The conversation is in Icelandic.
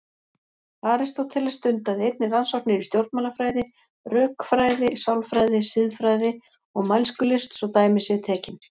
Aristóteles stundaði einnig rannsóknir í stjórnmálafræði, rökfræði, sálfræði, siðfræði og mælskulist svo dæmi séu tekin.